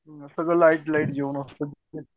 हो ना सगळं लाईट लाईट जेवण असत